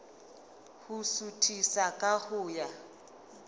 ho suthisa ka ho ya